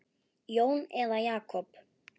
Jón eða Jakob?